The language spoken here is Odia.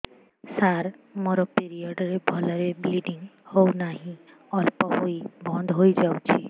ସାର ମୋର ପିରିଅଡ଼ ରେ ଭଲରେ ବ୍ଲିଡ଼ିଙ୍ଗ ହଉନାହିଁ ଅଳ୍ପ ହୋଇ ବନ୍ଦ ହୋଇଯାଉଛି